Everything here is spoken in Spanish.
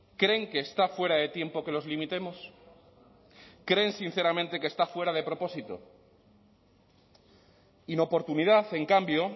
creen que está fuera de tiempo que los limitemos creen sinceramente que está fuera de propósito inoportunidad en cambio